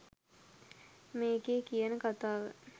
මේකේ කියන කතාව